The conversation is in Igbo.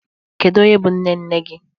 Kedu onye bụ nne nne gị?